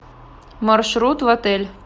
маршрут в отель